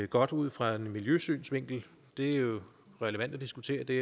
godt ud fra en miljøsynsvinkel det er jo relevant at diskutere det